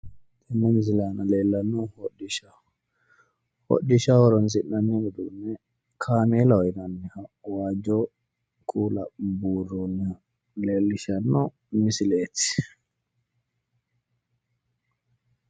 Tenne misile aana leellannohu hodhishaho hodhisdhaho horoonsi'nanni uduunne kaameelaho yinanniha waajjo kuula buurroonniha leellishshanno misileeti.